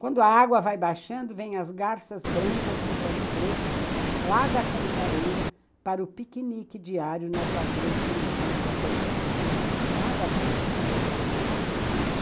Quando a água vai baixando, vêm as garças brancas de pés pretos, lá da cantareira, para o piquenique diário nas lagoas de meandros abandonados, lá da várzea.